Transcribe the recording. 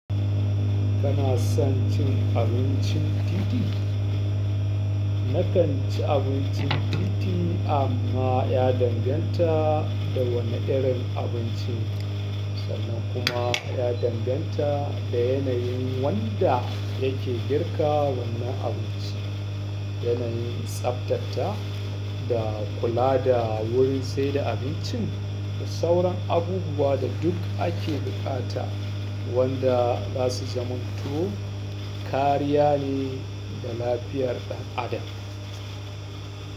Kana son cin abincin titi? Nakan ci abincin titi amma ya danganta da wane irin abinci ne sannan kuma ya danganta da yanayin wanda yake girka wannan abinci, yanayin tsaftata da kula da wurin, sai da abincin da sauran abubuwa da duk ake buƙata wanda za su zaman to kariya ne ga lafiyar ɗan adam.